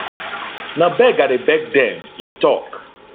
na beg i dey beg dem e tok